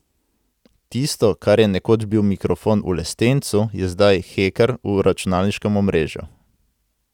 Tisto, kar je nekoč bil mikrofon v lestencu, je zdaj heker v računalniškem omrežju.